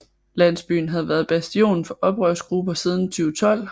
Landsbyen havde været bastion for oprørsgrupper siden 2012